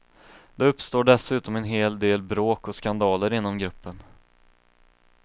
Det uppstår dessutom en hel del bråk och skandaler inom gruppen.